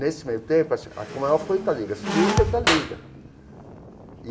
Nesse meio tempo assim, a Tom Maior foi para a liga subiu e foi para a Liga.